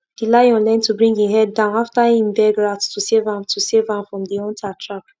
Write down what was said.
try use keyline design to share water well-well across farmland make everywhere get water equally and di crops go grow better